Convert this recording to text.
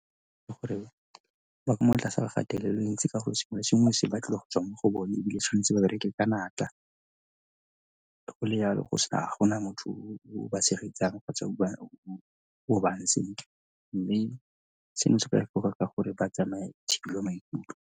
Ka gore ba ka mo tlase ga kgatelelo e ntsi ka gore sengwe le sengwe se batliwa go tswa mo go bone ebile tshwanetse ba bereke ka natla. Ga go le yalo ga gona motho o ba tshegetsang kgotsa o ba mme seno se ka gore ba tsamaye thibelwa maikutlo.